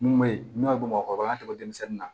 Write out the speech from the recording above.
Mun be yen n'o ye bamakɔ yan denmisɛnnin na